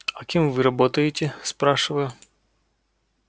а кем вы работаете спрашиваю